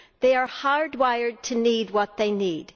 They are hardwired to need what they need.